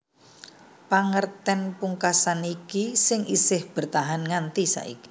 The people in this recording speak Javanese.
Pangertèn pungkasan iki sing isih bertahan nganti saiki